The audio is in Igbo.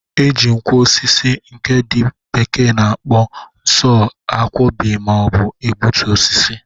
E ji nkwọ osisi nke ndị bekee na-akpo sọ a kwọbị ma ọ bụ gbụtue osisi.